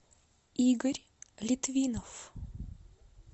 игорь литвинов